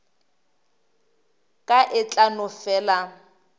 ka e tla no fela